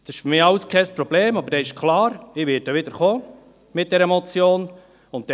Das ist für mich alles kein Problem, aber damit ist klar, dass ich wieder mit dieser Motion kommen werde.